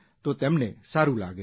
તો એમને સારૂં લાગે છે